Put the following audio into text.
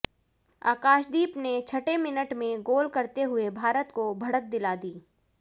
आकाशदीप ने छठे मिनट में गोल करते हुए भारत को बढ़त दिला दी